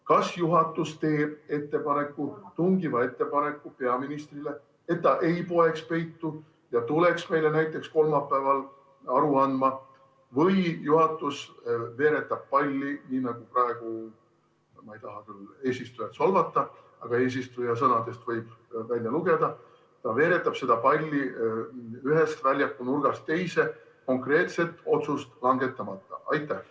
Kas juhatus teeb peaministrile tungiva ettepaneku, et ta ei poeks peitu ja tuleks meile näiteks kolmapäeval aru andma, või juhatus veeretab palli, nii nagu praegu – ma ei taha küll eesistujat solvata, aga tema sõnadest võib nii välja lugeda – ta veeretab seda palli ühest väljaku nurgast teise, konkreetset otsust langetamata?